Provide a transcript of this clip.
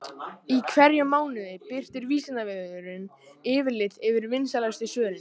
Í hverjum mánuði birtir Vísindavefurinn yfirlit yfir vinsælustu svörin.